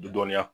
Dɔnniya